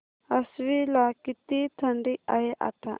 आश्वी ला किती थंडी आहे आता